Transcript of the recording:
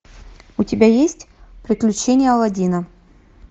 у тебя есть приключения алладина